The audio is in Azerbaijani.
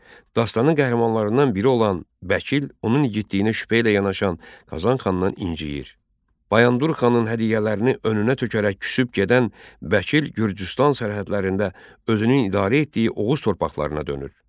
Dastanın qəhrəmanlarından biri olan Bəkil, onun igidliyinə şübhə ilə yanaşan Qazan xandan inciyir, Bayandur xanın hədiyyələrini önünə tökərək küsüb gedən Bəkil Gürcüstan sərhədlərində özünü idarə etdiyi Oğuz torpaqlarına dönür.